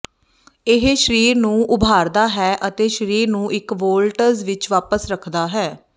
ਇਹ ਸਰੀਰ ਨੂੰ ਉਭਾਰਦਾ ਹੈ ਅਤੇ ਸਰੀਰ ਨੂੰ ਇੱਕ ਵੋਲਟਜ ਵਿੱਚ ਵਾਪਸ ਰੱਖਦਾ ਹੈ